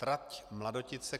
Trať Mladotice -